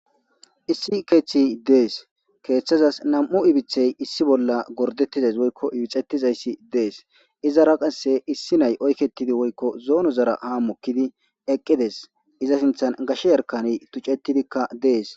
issi keeththi dees keeththazas nam'u ibithey issi bolla gordettizays woykko ibixettizayssi dees izara qasse issi nay oykketidi woykko zoonozara ha mokkidi eqqides iza sinthan gashe yarkaney tucettidikka dees